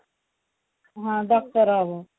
ହଁ doctor ହବ